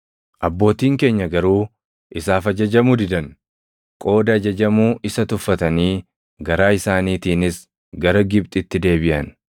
“Abbootiin keenya garuu isaaf ajajamuu didan; qooda ajajamuu isa tuffatanii garaa isaaniitiinis gara Gibxitti deebiʼan.